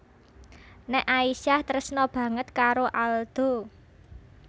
Nek Aisyah tresna banget karo Aldo